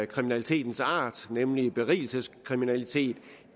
kriminalitetens art nemlig berigelseskriminalitet